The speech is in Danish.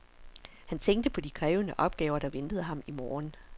Han tænkte på de krævende opgaver, der ventede ham i morgen.